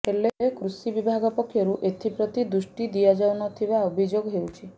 ହେଲେ କୃଷି ବିଭାଗ ପକ୍ଷରୁ ଏଥିପ୍ରତି ଦୃଷ୍ଟି ଦିଆଯାଉ ନ ଥିବା ଅଭିଯୋଗ ହେଉଛି